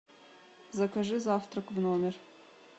закажи завтрак в номер